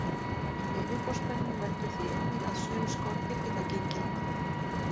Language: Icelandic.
Yfirborðsspennan veldur því einnig að sum skordýr geta gengið á vatni.